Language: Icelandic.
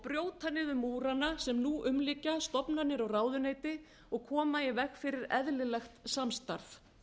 brjóta niður múrana sem nú umlykja stofnanir og ráðuneyti og koma í veg fyrir eðlilegt samstarf